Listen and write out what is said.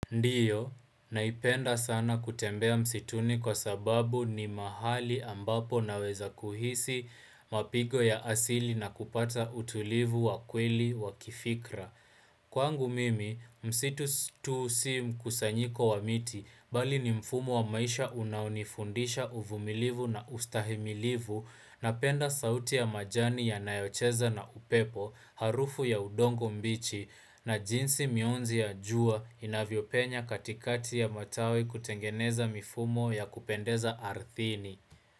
Ndiyo, naipenda sana kutembea msituni kwa sababu ni mahali ambapo naweza kuhisi mapigo ya asili na kupata utulivu wa kweli wa kifikra. Kwangu mimi, msitu si mkusanyiko wa miti, bali ni mfumo wa maisha unaonifundisha uvumilivu na ustahimilivu napenda sauti ya majani yanayocheza na upepo, harufu ya udongo mbichi na jinsi mionzi ya jua inavyopenya katikati ya matawi kutengeneza mifumo ya kupendeza ardhini.